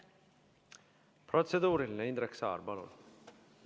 Protseduuriline, Indrek Saar, palun!